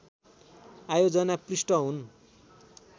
आयोजना पृष्ठ हुन्